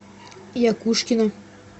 якушкина